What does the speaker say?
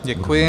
Děkuji.